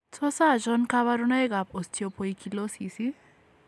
Tos achon kabarunaik ab Osteopoikilosis ?